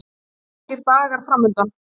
Sólríkir dagar framundan